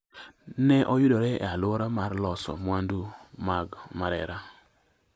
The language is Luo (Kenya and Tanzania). ne oyudre e alwora mar loso mwandu mag Marera